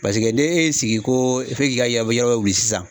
Paseke ne e y'i sigi ko f'e k'i ka yabɔ yɔrɔ wili sisan